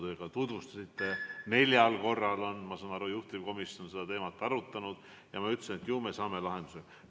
Nagu te tutvustasite, on neljal korral, ma saan aru, juhtivkomisjon seda teemat arutanud, ja ma ütlesin, et ju me leiame lahenduse.